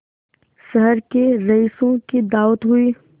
शहर के रईसों की दावत हुई